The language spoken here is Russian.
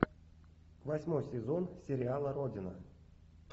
восьмой сезон сериала родина